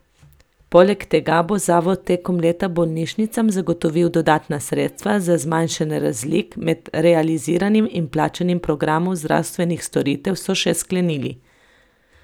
Poleg tega bo zavod tekom leta bolnišnicam zagotovil dodatna sredstva za zmanjšanje razlik med realiziranim in plačanim programom zdravstvenih storitev, so še sklenili.